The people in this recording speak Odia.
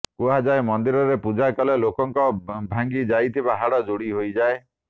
କୁହାଯାଏ ମନ୍ଦିରରେ ପୂଜା କଲେ ଲୋକଙ୍କ ଭାଙ୍ଗି ଯାଇଥିବା ହାଡ଼ ଯୋଡ଼ି ହୋଇଯାଏ